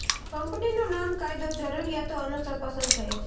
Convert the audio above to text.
કંપનીનું નામ કાયદો જરૂરિયાતો અનુસાર પસંદ થયેલ છે